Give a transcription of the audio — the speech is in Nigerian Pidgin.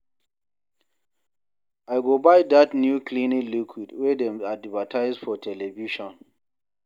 I go buy dat new cleaning liquid wey dem advertise for television.